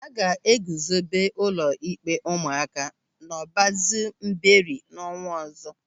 A ga-eguzobe ụlọ ịkpe ụmụaka n'Ọbazu Mbieri n'ọnwa ọzọ.